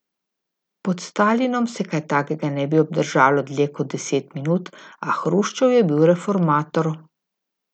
Pod Stalinom se kaj takega ne bi obdržalo dlje kot deset minut, a Hruščov je bil reformator.